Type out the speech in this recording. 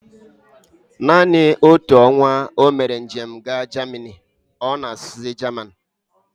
Naanị otu ọnwa omere njem ha Jamini, ọ na-asuzi Jaman